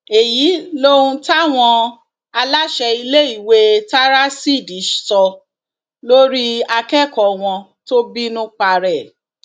èyí lohun táwọn aláṣẹ iléèwé taraseed sọ lórí akẹkọọ wọn tó bínú para ẹ